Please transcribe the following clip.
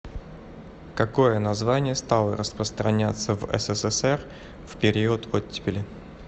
какое название стало распространяться в ссср в период оттепели